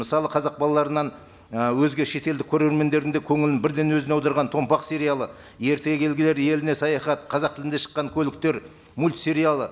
мысалы казақ балаларынан і өзге шетелдік көрермендердің де көңілін бірден өзіне аударған томпақ сериалы ертегі еліне саяхат қазақ тілінде шыққан көліктер мультсериалы